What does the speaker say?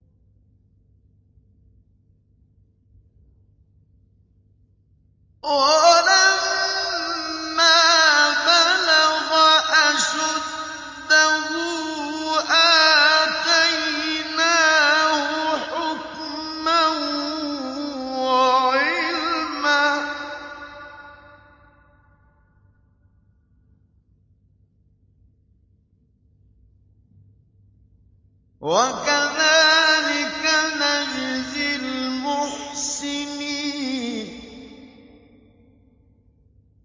وَلَمَّا بَلَغَ أَشُدَّهُ آتَيْنَاهُ حُكْمًا وَعِلْمًا ۚ وَكَذَٰلِكَ نَجْزِي الْمُحْسِنِينَ